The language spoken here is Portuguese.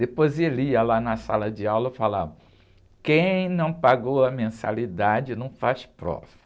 Depois ele ia lá na sala de aula e falava, quem não pagou a mensalidade não faz prova.